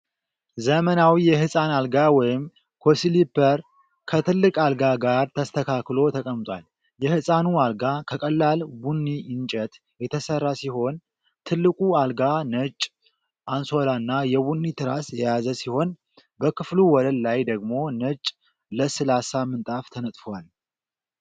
ዘመናዊ የህጻን አልጋ ወይም 'ኮስሊፐር' ከትልቅ አልጋ ጋር ተስተካክሎ ተቀምጧል። የህፃኑ አልጋ ከቀላል ቡኒ እንጨት የተሰራ ሲሆን፣ ትልቁ አልጋው ነጭ አንሶላና የቡኒ ትራስ የያዘ ሲሆን፣ በክፍሉ ወለል ላይ ደግሞ ነጭ ለስላሳ ምንጣፍ ተነጥፏል።